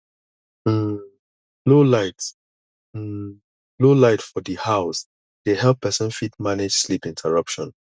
um low light um low light for di house dey help person fit manage sleep interruption